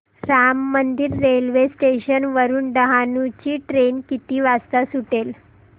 Ram Mandir railway station वरुन डहाणू ची train किती वाजता सुटेल